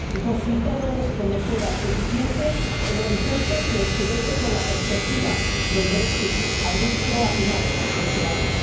Y por si todo esto no fuera suficiente, el horizonte se oscurece con la perspectiva del Brexit abrupto a finales de este año.